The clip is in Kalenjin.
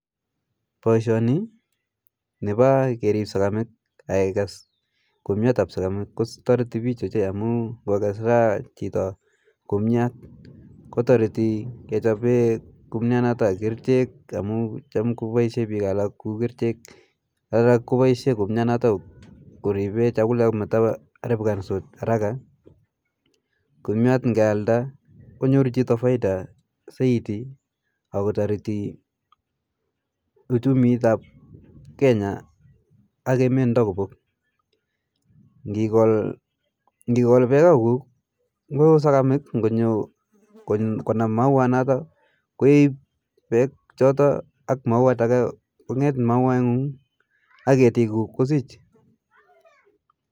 Boisioni nepa kerip sakamik ak kekas kumyat nepa sakamik kotori pich ochei amu ngokas raa chito kumyat kotoriti kechapee kumyat noto kerchek amu cham kopaishe biko alak kuu kerchek alak kopaishe kumyat noto koripe chakulek mataaripikanso haraka ,kumyat ngealda konyoru chito faida saiti ako toriti uchumit ap kenya ak emet ndo kopok ,ngikol beka kuk koo sokamik ngonyo konam mauat noto koip bek choto ak mauat ake ngonget mauat ngung ak ketik kuk kosich